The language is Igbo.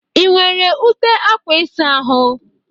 Ị nwere ute akwa ịsa ahụ?